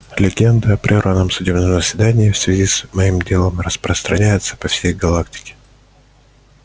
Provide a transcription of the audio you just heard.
легенды о прерванном судебном заседании в связи с моим делом распространяются по всей галактике